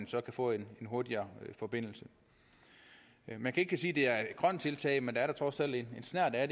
så vil få en hurtigere forbindelse man kan ikke sige at det er et grønt tiltag men der er da trods alt en snert af